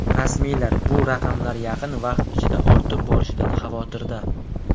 Rasmiylar bu raqamlar yaqin vaqt ichida ortib borishidan xavotirda.